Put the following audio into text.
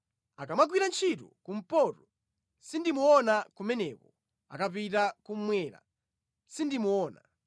Akamagwira ntchito kumpoto, sindimuona kumeneko akapita kummwera, sindimuona.